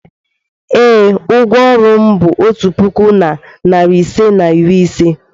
ee, ụgwọ ọrụ m bụ otu puku na narị ise na iri ise.